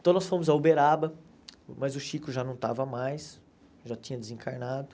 Então nós fomos a Uberaba, mas o Chico já não estava mais, já tinha desencarnado.